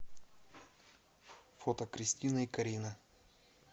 фото кристина и карина